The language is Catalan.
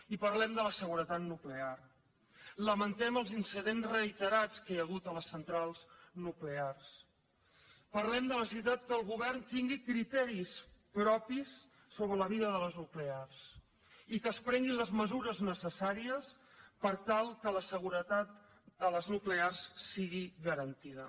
i parlem de la seguretat nuclear lamentem els incidents reiterats que hi ha hagut a les centrals nuclears parlem de la necessitat que el govern tingui criteris propis sobre la vida de les nuclears i que es prenguin les mesures necessàries per tal que la seguretat a les nuclears sigui garantida